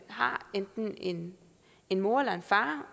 har enten en en mor eller en far